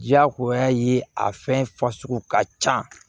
Diyagoya ye a fɛn fasugu ka can